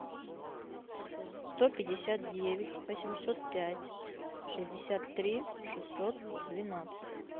сто пятьдесят девять восемьсот пять шестьдесят три шестьсот двенадцать